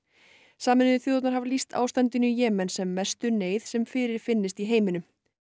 sameinuðu þjóðirnar hafa lýst ástandinu í Jemen sem mestu neyð sem fyrirfinnst í heiminum